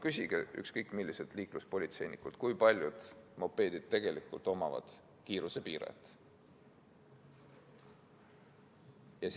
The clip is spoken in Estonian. Küsige ükskõik milliselt liikluspolitseinikult, kui paljud mopeedid tegelikult omavad kiirusepiirajat.